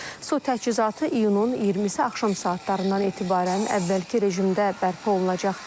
Su təchizatı iyunun 20-si axşam saatlarından etibarən əvvəlki rejimdə bərpa olunacaq.